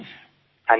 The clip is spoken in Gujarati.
હા જી સાહેબ